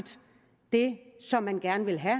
det som man gerne vil have